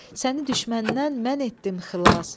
Səni düşməndən mən etdim xilas.